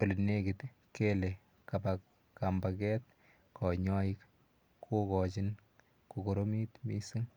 ole nekit kele kapa kambaket kanyaik ko kachin ko koromit missing'.